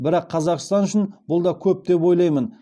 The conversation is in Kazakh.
бірақ қазақстан үшін бұл да көп деп ойлаймын